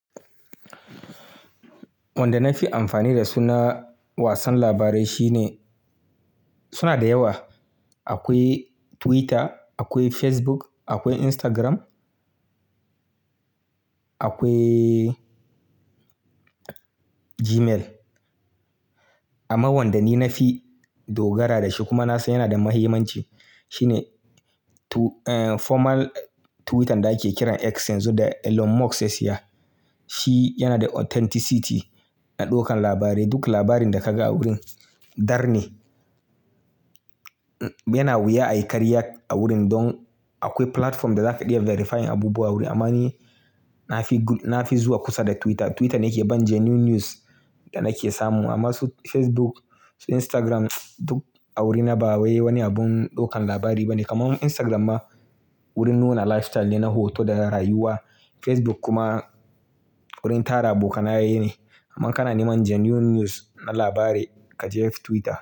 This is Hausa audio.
Wanda na fi amfani da su na wasan labarai shine suna da yawa. Akwai Twitter, akwai Facebook, akwai Instagram, akwai Gmail. Amma wanda ni na fi dogara da shi kuma na san yana da mahimmanci shine tu-- eh formal Twitter da ake kiran X yanzu da Elon Musk ya siya. Shi yana da authenticity na ɗaukan labarai. Duk labarin da ka ga a wurin dar ne. Ne-- yana wuya a yi karya a wurin don akwai platform da za ka iya verifying abubuwa a wurin. Amma ni na fi, na fi zuwa kusa da Twitter. Twitter ne ke ban genuine news da nake samu. Amma su Facebook, su Instagram duk a wurin na ba wani abun ɗaukan labari ba ne. Kaman Instagram ma wurin nuna lifestyle ne, na hoto da rayuwa. Facebook kuma wurin tara abokanaye ne. Amma ka na neman genuine news na labari ka je Twitter.